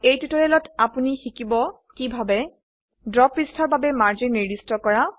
এই টিউটোৰিয়েলটিত আপোনি শিকিছে কিভাবে ড্ৰ পৃষ্ঠাৰ বাবে মাৰ্জিন নিৰ্দিষ্ট কৰা